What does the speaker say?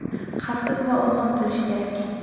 xavfsiz va oson qilish kerak.